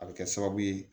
A bɛ kɛ sababu ye